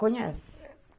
Conhece?